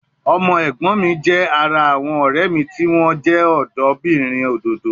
Ọmọ ẹ̀gbọ́n mi jẹ́ ara àwọn ọ̀rẹ́ mi tí wọ́n jẹ́ ọ̀dọ́bìnrin òdòdó